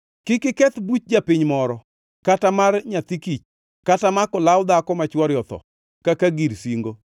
Kik uketh buch japiny moro, kata mar nyathi kich kata mako law dhako ma chwore otho kaka gir singo.